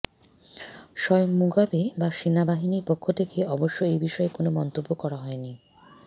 স্বয়ং মুগাবে বা সেনাবাহিনীর পক্ষ থেকে অবশ্য এ বিষয়ে কোনও মন্তব্য করা হয়নি